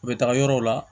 U bɛ taga yɔrɔw la